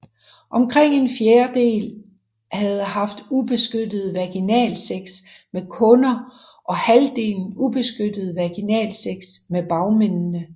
Omkring en fjerdel havde haft ubeskyttet vaginalsex med kunder og halvdelen ubeskyttet vaginalsex med bagmændene